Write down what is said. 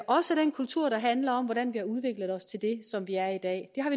også den kultur der handler om hvordan vi har udviklet os til det som vi er i dag